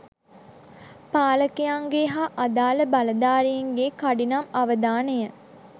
පාලකයන්ගේ හා අදාල බලධාරීන්ගේ කඩිනම් අවධානය